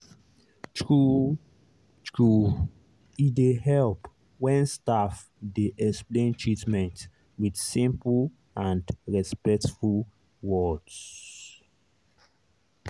true-true e dey help when staff dey explain treatment with simple and respectful words.